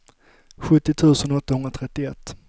sjuttio tusen åttahundratrettioett